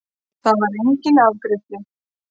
Þar var enginn afgreiðslu